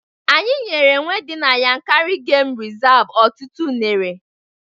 Anyị nyere enwe di na Yankari gemụ rizavụ ọtụtụ unere